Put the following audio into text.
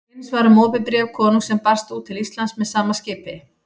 Eins var um opið bréf konungs sem barst út til Íslands með sama skipi.